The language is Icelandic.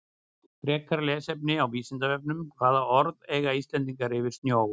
Frekara lesefni á Vísindavefnum Hvaða orð eiga Íslendingar yfir snjó?